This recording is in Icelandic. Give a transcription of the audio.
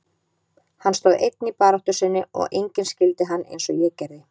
Hann stóð einn í baráttu sinni og enginn skildi hann eins og ég gerði.